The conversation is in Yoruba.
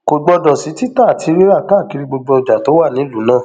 kò gbọdọ sí títà àti rírà káàkiri gbogbo ọjà tó wà nílùú náà